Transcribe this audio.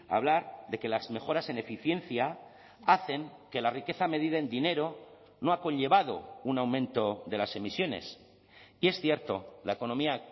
hablar de que las mejoras en eficiencia hacen que la riqueza medida en dinero no ha conllevado un aumento de las emisiones y es cierto la economía